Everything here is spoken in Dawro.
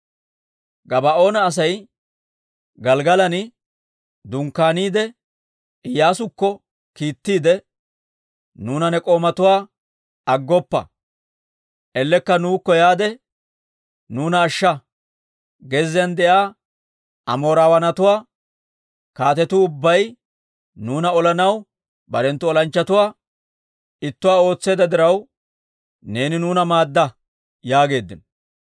Gabaa'oona Asay Gelggalan dunkkaaniide Iyyaasukko kiittiide, «Nuuna ne k'oomatuwaa aggoppa; ellekka nuukko yaade nuuna ashsha. Gezziyaan de'iyaa Amooraawaanatuwaa kaatetuu ubbay nuuna olanaw barenttu olanchchatuwaa ittuwaa ootseedda diraw, neeni nuuna maadda» yaageeddino.